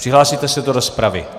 Přihlásíte se do rozpravy?